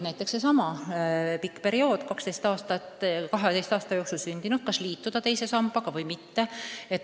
Näiteks sellesama pika perioodi, 12 aasta vahemikus sündinud peavad mõtlema, kas liituda teise sambaga või mitte.